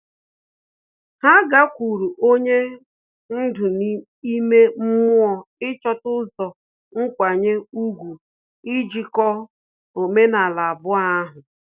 Ha gakwuru onye ndú ime mmụọ ịchọta ụzọ nkwanye ùgwù ijikọ omenala abụọ ahu